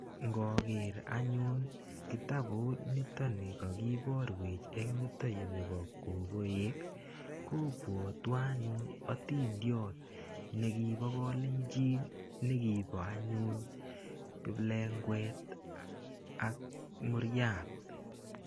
Ngoker anyun kitabut nitoni kakiborwech eng yutoyu nebo kokoek kobwotwo anyun otindiot nekibo kolenjini nekibo anyun kiplengwet ak muriat.